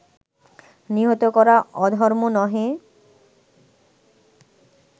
নিহত করা অধর্ম নহে